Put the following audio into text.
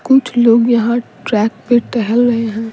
कुछ लोग यहाँ ट्रैक पे टहल रहे हैं।